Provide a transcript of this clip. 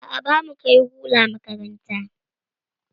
A'a, bamu kai lura makaranta.